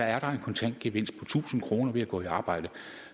er en kontant gevinst på tusind kroner ved at gå i arbejde